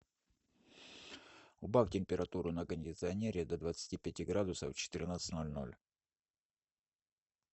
убавь температуру на кондиционере до двадцати пяти градусов в четырнадцать ноль ноль